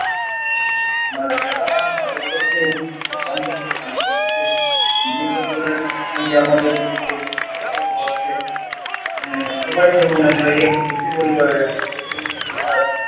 মানে সারা ভারতবর্ষের বিভিন্ন প্রান্ত থেকে মানুষ আসছে বিভিন্ন ধরনের সঙ্গে আমাদের পরিচয়ের হচ্ছে। আহ সবাই যেমন আমরা এক একই পরিবারের